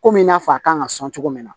Komi i n'a fɔ a kan ka sɔn cogo min na